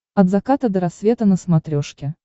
от заката до рассвета на смотрешке